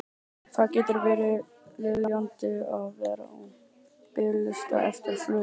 Það getur verið lýjandi að vera á biðlista eftir flugi.